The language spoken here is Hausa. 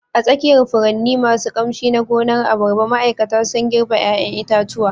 A tsakiyar furanni masu ƙamshi na gonar abarba, ma'aikata sun girbe 'ƴaƴan itatuwa